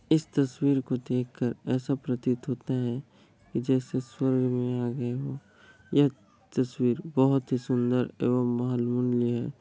इस तस्वीर को देखकर ऐसा प्रतीत होता है जैसे स्वर्ग में आ गए हो यह तस्वीर बहुत सी सुन्दर है।